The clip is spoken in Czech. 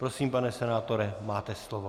Prosím, pane senátore, máte slovo.